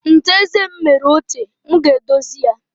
Ncha eze m mere ochie, m ga-edozi ya.